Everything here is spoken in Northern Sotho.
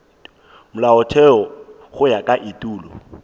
molaotheo go ya ka etulo